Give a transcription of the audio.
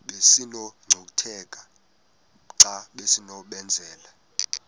besinokucutheka xa besinokubenzela